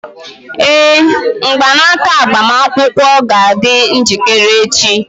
Ee, mgbanaka agbamakwụkwọ ga-adị njikere echi.